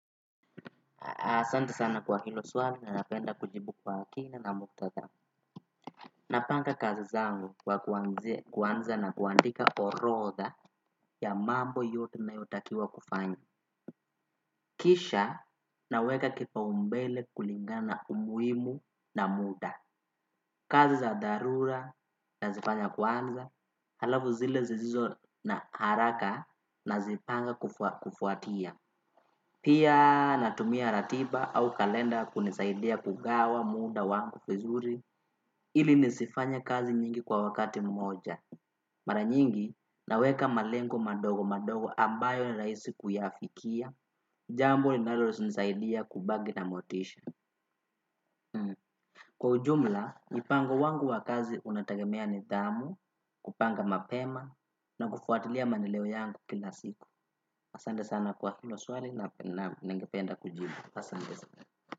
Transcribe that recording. Asante sana kwa hilo swali na napenda kujibu kwa kina na muktadha. Napanga kazi zangu kwa kuanza na kuandika orodha ya mambo yote nayotakiwa kufanya. Kisha naweka kipaumbele kulingana umuhimu na muda. Kazi za dharura nazifanya kwanza halafu zile zisizo na haraka nazipanga kufuatia. Pia natumia ratiba au kalenda kunisaidia kugawa muda wangu vizuri ili nisifanye kazi nyingi kwa wakati mmoja. Mara nyingi naweka malengo madogo madogo ambayo ni rahisi kuyafikia. Jambo linalonisaidia kubaki na motisha. Kwa ujumla, mipango wangu wa kazi unategemea nidhamu, kupanga mapema na kufuatilia maendeleo yangu kila siku. Asante sana kwa hilo swali na ningependa kujibu.